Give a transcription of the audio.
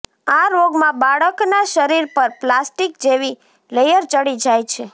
આ રોગમાં બાળકના શરીર પર પ્લાસ્ટિક જેવી લેયર ચડી જાય છે